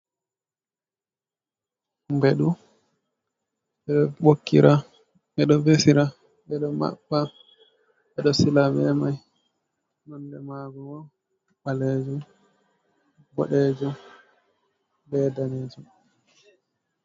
Beɗu, ɓeɗo vesira, ɓeɗo maɓɓa, ɓe ɗo sila be mai, nonde mago ɓalejum , boɗejum , ɗanejum.